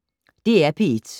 DR P1